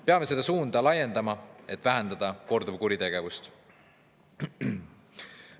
Peame seda suunda laiendama, et vähendada korduvkuritegevust.